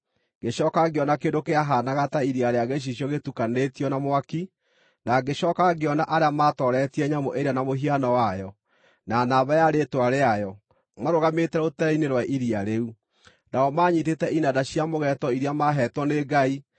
Ngĩcooka ngĩona kĩndũ kĩahaanaga ta iria rĩa gĩcicio gĩtukanĩtio na mwaki, na ngĩcooka ngĩona arĩa maatooretie nyamũ ĩrĩa na mũhiano wayo, na namba ya rĩĩtwa rĩayo, marũgamĩte rũtere-inĩ rwa iria rĩu. Nao maanyiitĩte inanda cia mũgeeto iria maaheetwo nĩ Ngai,